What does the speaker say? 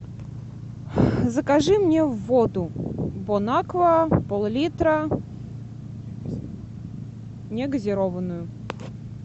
закажи мне воду бон аква пол литра не газированную